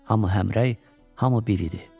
Hamı həmrəy, hamı bir idi.